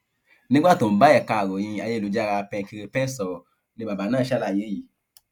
nígbà tó ń bá ẹka ìròyìn ayélujára penkiripen sọrọ ni bàbá náà ṣàlàyé yìí